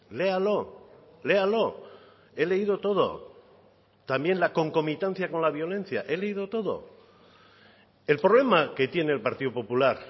léalo léalo he leído todo también la concomitancia con la violencia he leído todo el problema que tiene el partido popular